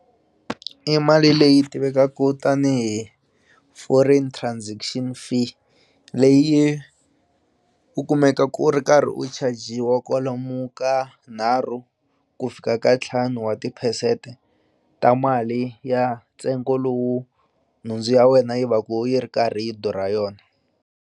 I mali leyi tivekaku tanihi foreign transaction fee leyi u kumeka ku ri karhi u chajiwa kwalomu ka nharhu ku fika ka ntlhanu wa tiphesente ta mali ya ntsengo lowu nhundzu ya wena yi va ku yi ri karhi durha yona.